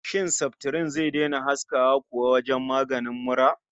Shin saftirin zai daina haskawa kuwa wajen maganin mura?